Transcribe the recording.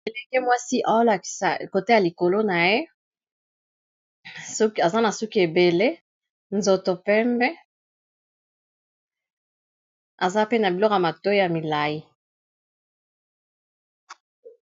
Elenge mwasi ozolasa côté a likolo na ye aza na suki ebele nzoto pembe aza pe na biloko ya matoyi milai.